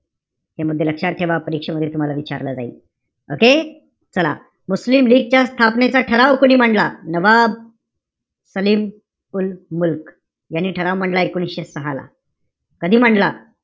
हे मुद्दे लक्षात ठेवा, परीक्षेमध्ये तुम्हाला विचारलं जाईल. Okay? चला, मुस्लिम लीगच्या स्थापनेचा ठराव कोणी मांडला? नवाब सलीम उल मुल्क यांनी ठराव मांडला एकोणीशे सहा ला. कधी मांडला?